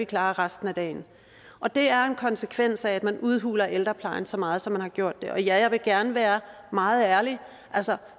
klarer resten af dagen og det er en konsekvens af at man udhuler ældreplejen så meget som man har gjort ja jeg vil gerne være meget ærlig altså